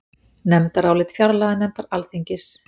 Nefndarálit fjárlaganefndar Alþingis